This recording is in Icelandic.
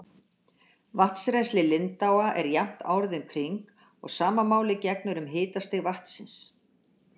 Vatnsrennsli lindáa er jafnt árið um kring og sama máli gegnir um hitastig vatnsins.